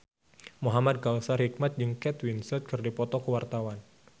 Muhamad Kautsar Hikmat jeung Kate Winslet keur dipoto ku wartawan